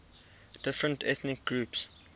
different ethnic groups